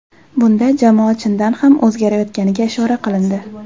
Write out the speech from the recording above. Bunda jamoa chindan ham o‘zgarayotganiga ishora qilindi.